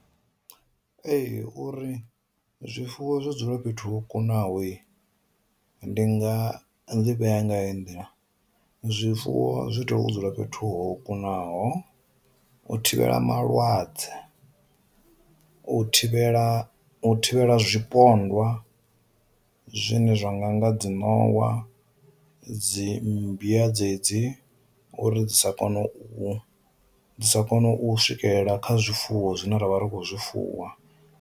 Ee uri zwifuwo zwi dzule fhethu ho kunahoyi, ndi nga livhea nga heyi nḓila, zwifuwo zwi iteya u dzula fhethu ho kunaho, u thivhela malwadze, u thivhela u thivhela zwipondwa zwine zwa nga nga dzi nowa, dzi mmbwa dze dzi uri dzi sa kone u sa kone u swikelela kha zwifuwo zwine ravha ri kho zwi fuwa.